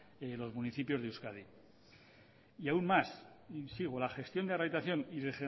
los municipios de euskadi y aun más sigo la gestión de rehabilitación y de